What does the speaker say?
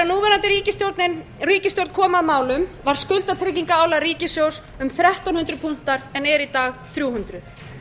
þegar núverandi ríkisstjórn kom að málum var skuldatryggingarálag ríkissjóðs um þrettán hundruð punktar en eru í dag þrjú hundruð